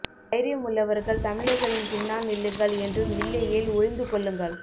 தைரியம் உள்ளவர்கள் தமிழர்களின் பின்னால் நில்லுங்கள் என்றும் இல்லையேல் ஒளிந்து கொள்ளுங்கள்